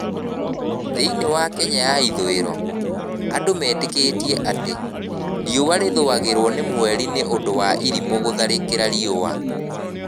Thĩinĩ wa Kenya ya ithũĩro, andũ metĩkĩtie atĩ, riũa rĩthũagĩrwo nĩ mweri nĩ ũndũ wa irimũ gũtharĩkĩra riũa.